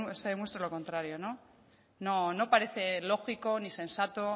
se demuestre lo contrario no no parece lógico ni sensato